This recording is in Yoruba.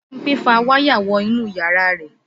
Bímpé fa wáyà wọ inú yàrá rẹ̀